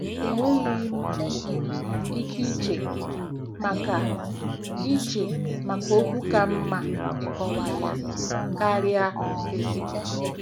Enweghị um m um ike iche maka iche maka okwu ka mma ịkọwa ya karịa "ezigbo."